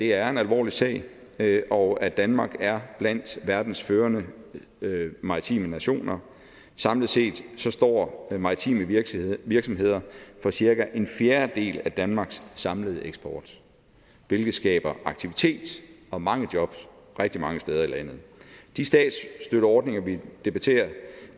er en alvorlig sag sag og at danmark er blandt verdens førende maritime nationer samlet set står maritime virksomheder virksomheder for cirka en fjerdedel af danmarks samlede eksport hvilket skaber aktivitet og mange jobs rigtig mange steder i landet de statsstøtteordninger vi debatterer